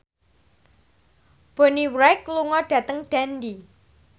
Bonnie Wright lunga dhateng Dundee